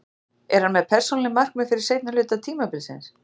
Er hann með persónuleg markmið fyrir seinni hluta tímabilsins?